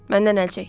Məndən əl çək.